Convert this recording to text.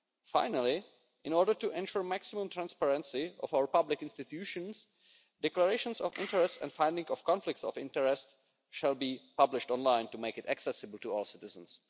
Finally, in order to ensure maximum transparency of our public institutions, declarations of interests and finding of conflicts of interests shall be published online to make it accessible to all citizens.